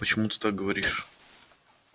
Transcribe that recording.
почему ты так говоришь